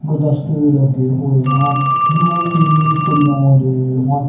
ਗੁਲਦਸਤੇ ਵੀ ਲੱਗੇ ਹੋਏ ਹਨ ਜੋ ਕਿ ਫੁੱਲਾਂ ਦੇ ਹਨ।